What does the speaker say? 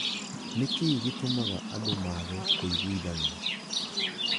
Nĩ kĩĩ gĩtũmaga andũ maage kũiguithania?